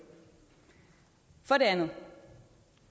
for det andet